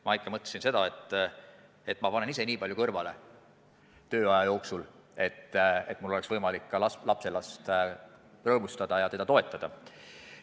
Ma ikka mõtlesin seda, et ma panen ise tööaja jooksul nii palju kõrvale, et mul oleks kunagi võimalik ka lapselast rõõmustada ja teda toetada.